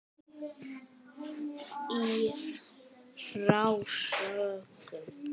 Í frásögn